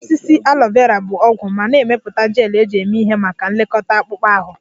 Osisi Aloe Vera bụ ọgwụ ma na-emepụta gel eji eme ihe maka nlekọta akpụkpọ ahụ